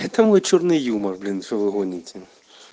это мой чёрный юмор блин что вы гоните